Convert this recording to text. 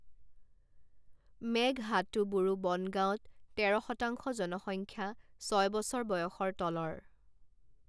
মেঘহাটুবুৰু বন গাঁৱত তেৰ শতাংশ জনসংখ্যা ছয় বছৰ বয়সৰ তলৰ।